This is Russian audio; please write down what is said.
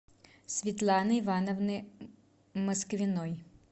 светланы ивановны москвиной